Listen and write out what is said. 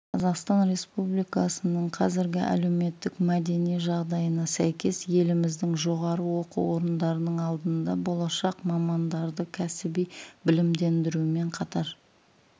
қазақстан республикасының қазіргі әлеуметтік мәдени жағдайына сәйкес еліміздің жоғары оқу орындарының алдында болашақ мамандарды кәсіби білімдендірумен қатар